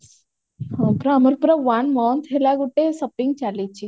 ହଁ ପରା ଆମର ପୁରା one month ହେଲା ଗୋଟେ shopping ଚାଲିଛି